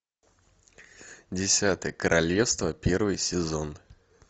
десятое королевство первый сезон